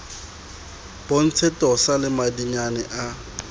bontshe tosa le madinyane a